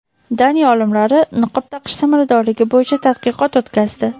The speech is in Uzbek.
Daniya olimlari niqob taqish samaradorligi bo‘yicha tadqiqot o‘tkazdi.